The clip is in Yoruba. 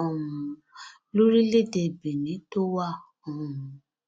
um lórílẹèdè benin tó wà um